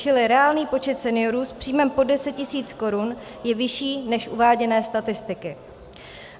Čili reálný počet seniorů s příjmem pod 10 tisíc korun je vyšší než uváděné statistiky.